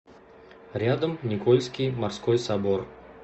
рядом никольский морской собор